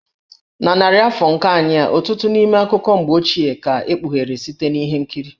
Na narị afọ nke anyị a, ọtụtụ n'ime akụkọ mgbe ochie ka e kpughere site na ihe nkiri.